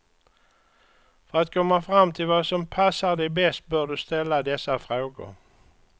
För att komma fram till vad som pasar dig bäst bör du ställa dessa frågor.